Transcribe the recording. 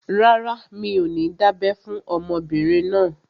Rárá, mi ò ní dábẹ́ fún ọmọbìnrin náà